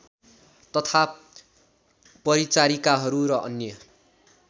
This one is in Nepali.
तथा परिचारिकाहरू र अन्य